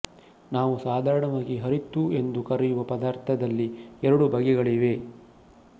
ನಾವು ಸಾಧಾರಣವಾಗಿ ಹರಿತ್ತು ಎಂದು ಕರೆಯುವ ಪದಾರ್ಥದಲ್ಲಿ ಎರಡು ಬಗೆಗಳಿವೆ